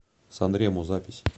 санремо запись